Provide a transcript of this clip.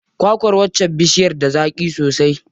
Kwa kwar waccar bishiyar da zaƙi sosai.